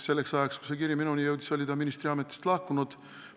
Selleks ajaks, kui see kiri minuni jõudis, oli ta ministriametist lahkunud.